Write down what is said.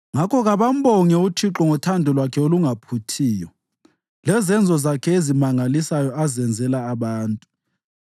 Ngakho kabambonge uThixo ngothando lwakhe olungaphuthiyo lezenzo zakhe ezimangalisayo azenzela abantu,